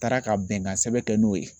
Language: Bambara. Taara ka bɛnkan sɛbɛn kɛ n'o ye.